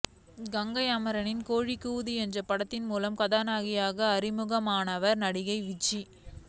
கங்கை அமரனின் கோழி கூவுது என்ற படத்தின் மூலம் கதாநாயகியாக அறிமுகமானவர் நடிகை விஜி